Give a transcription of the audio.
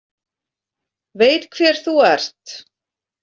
Veit hver þú ert.